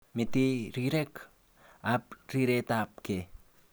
Mete rirek ab riretab ge.